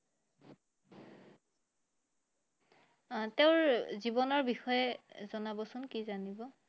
আহ তেওঁৰ জীৱনৰ বিষয়ে জনাবচোন কি জানিব